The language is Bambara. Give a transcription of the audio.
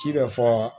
Ci bɛ fɔ